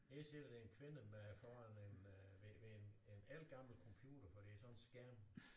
Her sidder der en kvinde med foran en øh ved ved en ældgammel computer for det er sådan en skærm